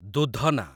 ଦୂଧନା